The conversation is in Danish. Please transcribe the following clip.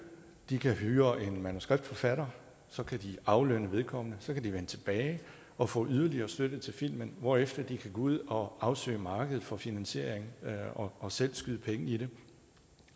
de kan hyre en manuskriptforfatter så kan de aflønne vedkommende så kan de vende tilbage og få yderligere støtte til filmen hvorefter de kan gå ud og afsøge markedet for finansiering og selv skyde penge i det